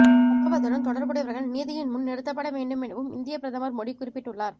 சம்பவத்துடன் தொடர்புடையவர்கள் நீதியின் முன் நிறுத்தப்பட வேண்டும் எனவும் இந்திய பிரதமர் மோடி குறிப்பிட்டுள்ளார்